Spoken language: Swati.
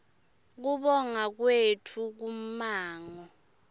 kubonga kwetfu kummango